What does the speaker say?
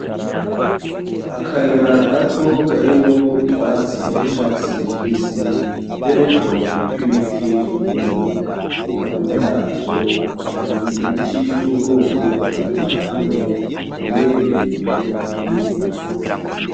Akayira gato kariwo utwatsi twicatsi kibisi, be n'utubabi tw'ibiti twumye . Hakurya yavyo hari ibiti vyubwoko butandukanye bimwe birebire ibindi bigufi .